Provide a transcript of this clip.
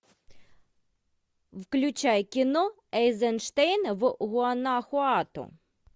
включай кино эйзенштейн в гуанахуато